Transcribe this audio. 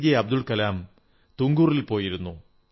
അബ്ദുൾ കലാം തുങ്കൂറിൽ പോയിരുന്നു